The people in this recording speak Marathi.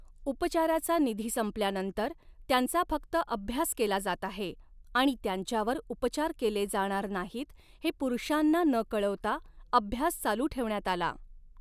उपचाराचा निधी संपल्यानंतर, त्यांचा फक्त अभ्यास केला जात आहे आणि त्यांच्यावर उपचार केले जाणार नाहीत हे पुरुषांना न कळवता अभ्यास चालू ठेवण्यात आला.